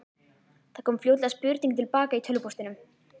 Það kom fljótlega spurning til baka í tölvupóstinum.